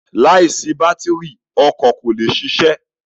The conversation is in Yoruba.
Láìsí bátírì, ọkọ kò lè ṣiṣẹ́.